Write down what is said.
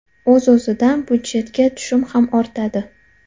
O‘z-o‘zidan byudjetga tushum ham ortadi.